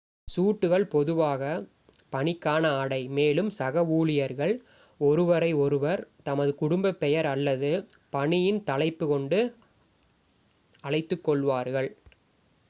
சூட்டுகள் பொதுவாக பணிக்கான ஆடை மேலும் சக ஊழியர்கள் ஒருவரை ஒருவர் தமது குடும்ப பெயர் அல்லது பணியின் தலைப்பு கொண்டு அழைத்துக் கொள்வார்கள்